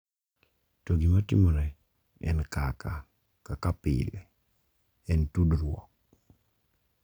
to gima timore en kaka, kaka pile, en tudruok,